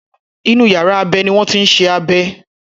Inú yàrá abẹ ni wọ́n ti ń ṣe abẹ.